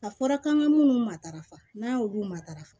A fɔra k'an ka minnu matarafa n'an y'olu matarafa